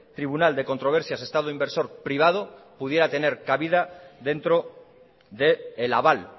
tribunal de controversias estado inversor privado pudiera tener cabida dentro del aval